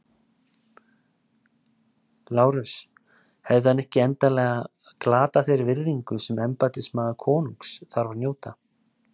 LÁRUS: Hefði hann ekki endanlega glatað þeirri virðingu sem embættismaður konungs þarf að njóta?